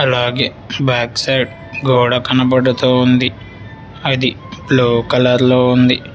అలాగే back side గోడ కనబడుతోంది అది బ్లూ కలర్ లో ఉంది.